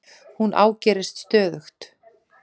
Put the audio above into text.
Hún ágerist stöðugt.